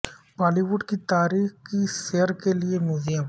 بالی would کی تاریخ کی سیر کے لیے میوزیم